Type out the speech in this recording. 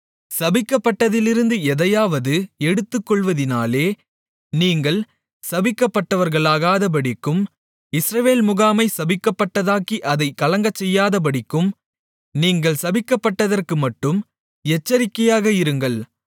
சபிக்கப்பட்டதிலிருந்து எதையாவது எடுத்துக்கொள்வதினாலே நீங்கள் சபிக்கப்பட்டவர்களாகாதபடிக்கும் இஸ்ரவேல் முகாமை சபிக்கப்பட்டதாக்கி அதைக் கலங்கச்செய்யாதபடிக்கும் நீங்கள் சபிக்கப்பட்டதற்குமட்டும் எச்சரிக்கையாக இருங்கள்